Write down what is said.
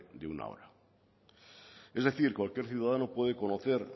de una hora es decir cualquier ciudadano puede conocer